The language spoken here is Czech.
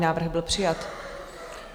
Návrh byl přijat.